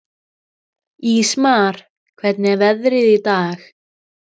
Ísmar, hvernig er veðrið í dag?